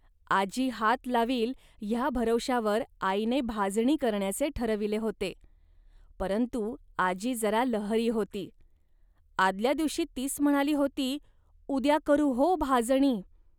आजी हात लावील, ह्या भरवशावर आईने भाजणी करण्याचे ठरविले होते, परंतु आजी जरा लहरी होती. आदल्या दिवशी तीच म्हणाली होती, "उद्या करू हो भाजणी